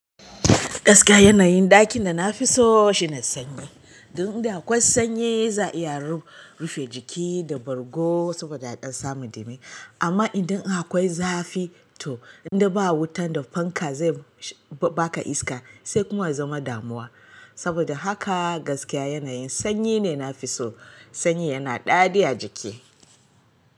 Gaskiya yanayin ɗakin da na fi so shi ne sanyi. Inda akwai sanyi za a iya rufe jiki da bargo saboda a ɗan samu dami. Amma idan akwai zafi to indai ba wutan da fanka zai baka iska sai kuma ya zama damuwa. Saboda haka gaskiya yanayin sanyi ne na fi so. Sanyin yana ɗadi a jiki.